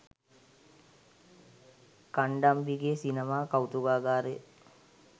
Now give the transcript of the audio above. කණ්ඩම්බිගේ සිනමා කෞතුකාගාරය